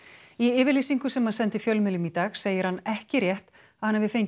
í yfirlýsingu sem hann sendi fjölmiðlum í dag segir hann ekki rétt að hann hafi fengið